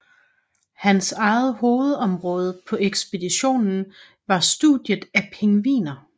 Hans eget hovedområde på ekspeditionen var studiet af pingviner